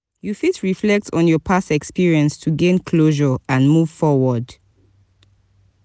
you fit reflect on your past experience to gain closure and move forward.